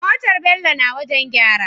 Motar bello na wajan gyara